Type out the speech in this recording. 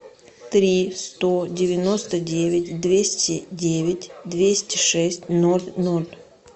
три сто девяносто девять двести девять двести шесть ноль ноль